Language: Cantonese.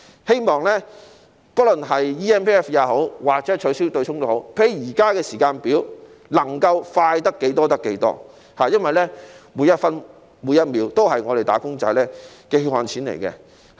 希望不論 eMPF 也好，或取消對沖機制也好，均能較現時的時間表提早完成，能夠快得多少，便快多少，因為每分每秒影響的都是"打工仔"的血汗錢。